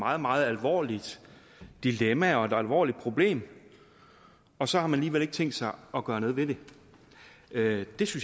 meget meget alvorligt dilemma og et alvorligt problem og så har man alligevel ikke tænkt sig at gøre noget ved det det